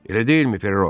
Elə deyilmi, Perro?